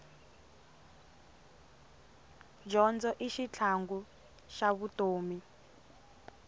dyondzo i xitlhangu xa vutomi